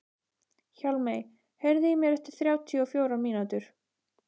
Hjálmey, heyrðu í mér eftir þrjátíu og fjórar mínútur.